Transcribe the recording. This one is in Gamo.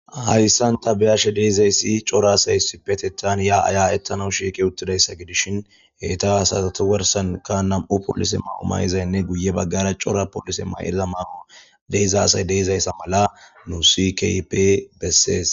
Hayisani ta beyashe dizayisi cora asayi issippetethani yaa yaaetanaw shiqi utidayisa besishini heyita asata garisani namu mayo mayizanne guye bagara mayiza coraa asayi deizayisa mala hesi kehippe besesi